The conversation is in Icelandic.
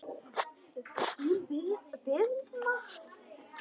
Þín Birna.